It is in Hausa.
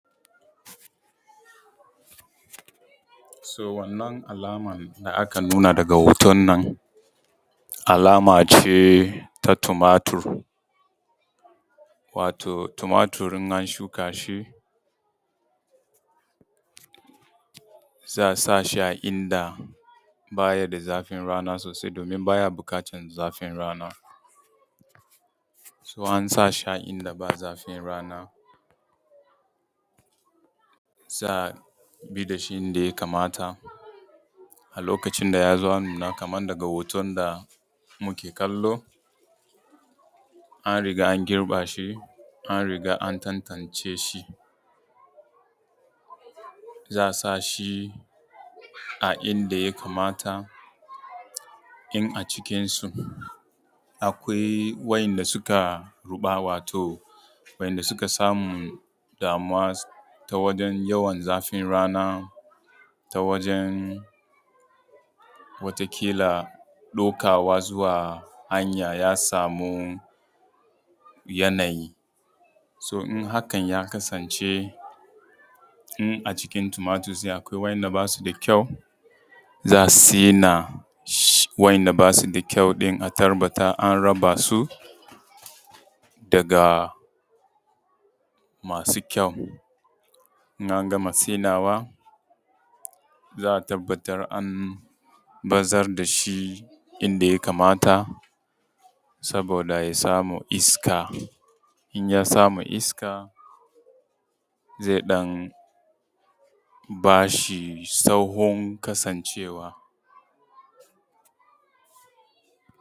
So wannan alaman da aka nuna daga hoton nan alama ce ta tumatur. Wato tumatur in an shuka shi za a sa shi a inda ba yi da zafin rana sosai domin ba ya buƙatan zafin rana, so ana sa shi a inda ba zafin rana za a bi da shi inda ya kamata, a lokacin da ya zo nuna kaman daga hoton da muke kallo, an riga an girba shi, kuma an riga an tantance shi za a sa shi a inda ya kamata in a cikin su akwai wa’inda suka ruɓa, wato wanda suka samu damuwa ta wajan yawan zafin rana, ta wajan wata ƙila ɗaukawa zuwa hanya ya sami yanayi, so in hakan ya kasance in a cikin tumatur akawai wa'inda basu da kyau, za a sina wa’inda basu da kyau ɗin a tabbatar an raba su daga masu kyau. In an gama sinawa, za a tabbatar an bazar da shi inda ya kamata saboda ya samu iska, in ya samu iska zai ɗan ba shi tsawon kasancewa.